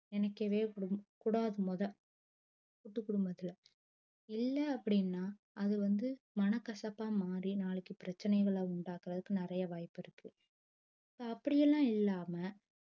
நெனைக்கவே கூடாது மொத கூட்டு குடும்பத்துள்ள இல்ல அப்டின்னா அது வந்து மனக்கசப்பா மாறி நாளைக்கு பிரச்சனைகள உண்டாக்குறதுக்கு நிறைய வாய்ப்பு இருக்கு அப்படிலாம் இல்லம்மா